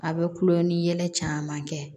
A bɛ kulon ni yɛlɛ caman kɛ